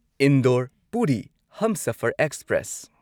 Indore Puri Humsafar express